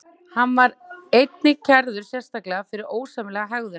Hann var einnig kærður sérstaklega fyrir ósæmilega hegðun.